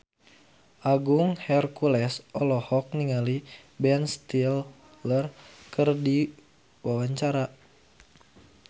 Agung Hercules olohok ningali Ben Stiller keur diwawancara